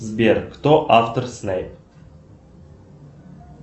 сбер кто автор снейп